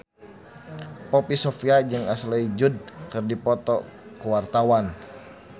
Poppy Sovia jeung Ashley Judd keur dipoto ku wartawan